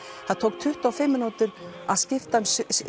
það tók tuttugu og fimm mínútur að skipta um